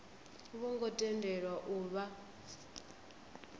vho ngo tendelwa u vha